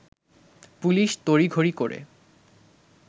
police তড়িঘড়ি করে